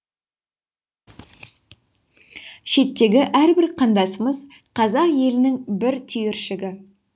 шеттегі әрбір қандасымыз қазақ елінің бір түйіршігі